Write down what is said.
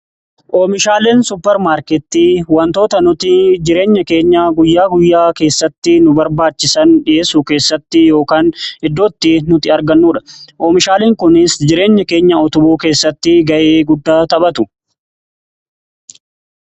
Oomishaaleen suppermaarketii wantoota nuti jireenya keenya guyyaa guyyaa keessatti nu barbaachisan dhi'eessuu keessatti yookaan iddootti nuti argannudha. Oomishaaleen kunis jireenya keenya utubuu keessatti ga'ee guddaa taphatu.